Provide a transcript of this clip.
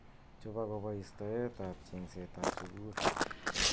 Chob akobo istoet ab chengset ab sukul.